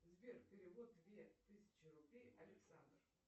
сбер перевод две тысячи рублей александр